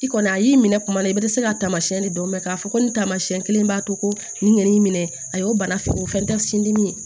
I kɔni a y'i minɛ kuma la i bɛ dɛsɛ ka taamasiyɛn de dɔn mɛ k'a fɔ ko nin taamasiyɛn kelen b'a to nɛn minɛ a y'o bana fintan sin dimi ye